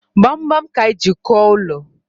Kpamkpam ka anyi ji kụo ụlọ